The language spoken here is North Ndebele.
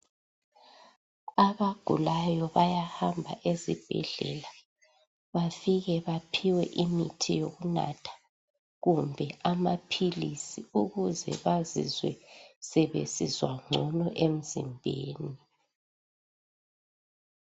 Abagulayo bayahamba esibhedlela, bafike baphiwe imithi yokunatha kumbe amaphilisi ukuze bazizwe sebesizwa ngcono emzimbeni.